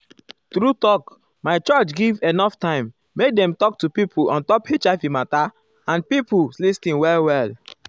true talk my church give enough time make dem talk to pipo ontop hiv mata and pipo uhm lis ten well well.